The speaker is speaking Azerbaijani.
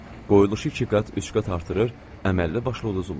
Qoyuluşu ikiqat, üçqat artırır, əməlli-başlı uduzurlar.